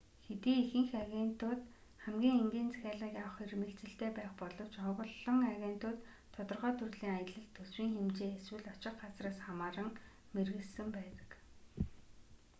хэдий ихэнх агентууд хамгийн энгийн захиалгыг авах эрмэлзэлтэй байх боловч олон агентууд тодорхой төрлийн аялал төсвийн хэмжээ эсвэл очих газраас хамааран мэргэшсэн байдаг